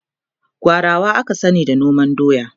gwarawa aka sani da noman doya